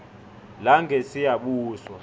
langesiyabuswa